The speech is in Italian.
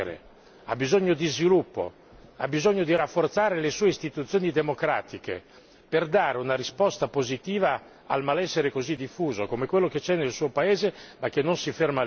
L'Europa ha bisogno di crescere, ha bisogno di sviluppo, ha bisogno di rafforzare le sue istituzioni democratiche per dare una risposta positiva al malessere così diffuso, come quello che c'è nel